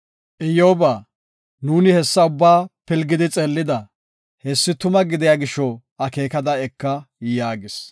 “Iyyoba, nuuni hessa ubbaa pilgidi xeellida. Hessi tuma gidiya gisho akeekada eka” yaagis.